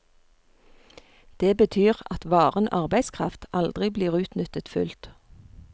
Det betyr at varen arbeidskraft aldri blir utnyttet fullt.